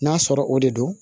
N'a sɔrɔ o de do